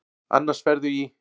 Annars ferðu í.